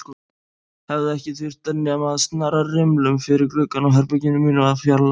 Það hefði ekki þurft nema að snara rimlum fyrir gluggann á herberginu mínu og fjarlægja